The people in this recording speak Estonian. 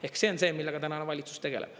Ehk see on see, millega tänane valitsus tegeleb.